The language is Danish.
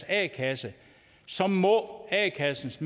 a kassen så må a kassens